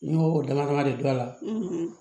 N'i y'o dama dama de don a la